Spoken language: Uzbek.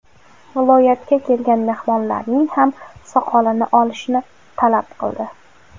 Viloyatga kelgan mehmonlarning ham soqolini olishni talab qildi.